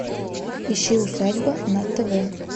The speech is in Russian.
ищи усадьба на тв